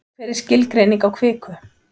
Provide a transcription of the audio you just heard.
hver er skilgreining á kviku